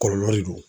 Kɔlɔlɔ de don